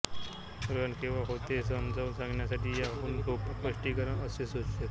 ग्रहण केव्हा होते हे समजावून सांगण्यासाठी याहून सोपे स्पष्टीकरण असूच शकत नाही